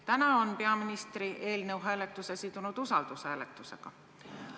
Täna on peaminister eelnõu hääletuse sidunud usaldusküsimusega.